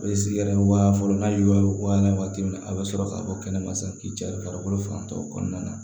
A bɛ sigi yɛrɛ wa fɔlɔ n'a ye wa wɔɔrɔ ye wagati min na a bɛ sɔrɔ ka bɔ kɛnɛma sa k'i cari farikolo fan dɔ kɔnɔna na